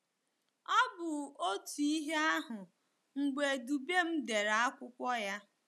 Ọ bụ otu ihe ahụ mgbe Dubem dere akwụkwọ ya.